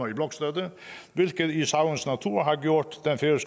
i blokstøtte hvilket i sagens natur har gjort